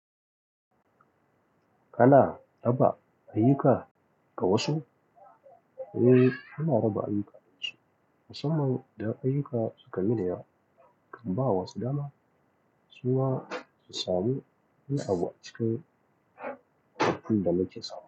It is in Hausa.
Kana raba ayyuka ga wa su? Eh, ana raba ayyuka. Musamman idan ayyuka suka miniyawa, in bawa wasu dama. Suma su samu, wani abu a cikin. Abunda muke samu.